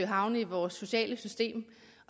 havne i vores sociale system